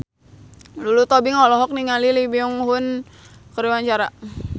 Lulu Tobing olohok ningali Lee Byung Hun keur diwawancara